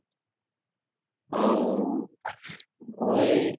অ মই